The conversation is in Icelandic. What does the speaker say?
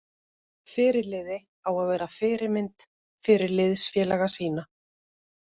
Fyrirliði á að vera fyrirmynd fyrir liðsfélaga sína.